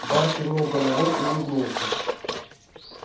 бар кивнул головой и улыбнулся